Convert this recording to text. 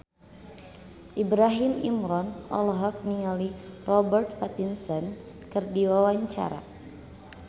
Ibrahim Imran olohok ningali Robert Pattinson keur diwawancara